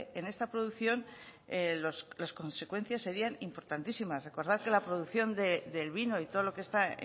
en esta producción las consecuencias serían importantísimas recordar que la producción del vino y todo lo que está